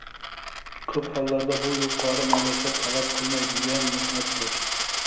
Ko‘p hollarda bu yuqori malaka talab qilmaydigan mehnatdir.